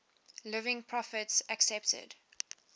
living prophets accepted